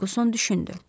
Ferquson düşündü.